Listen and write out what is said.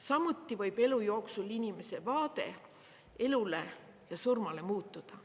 Samuti võib elu jooksul inimese vaade elule ja surmale muutuda.